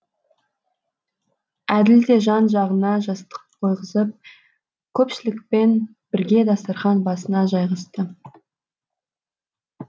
әділ де жан жағына жастық қойғызып көпшілікпен бірге дастархан басына жайғасты